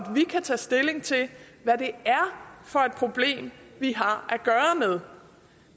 vi kan tage stilling til hvad det er for et problem vi har at gøre med